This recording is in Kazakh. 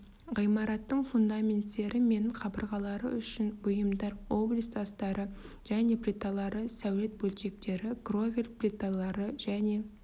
ғимараттың фундаменттері мен қабырғалары үшін бұйымдар облиц тастары және плиталары сәулет бөлшектері кровель плиталары және